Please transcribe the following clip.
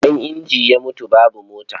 Idan inji ya mutu, babu mota.